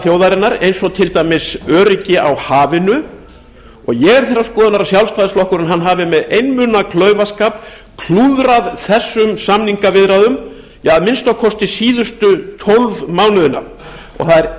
þjóðarinnar eins og til dæmis öryggi á hafinu og ég er þeirrar skoðunar að sjálfstæðisflokkurinn hafi með einmuna klaufaskap klúðrað þessum samningaviðræðum að minnsta kosti síðustu tólf mánuðina það er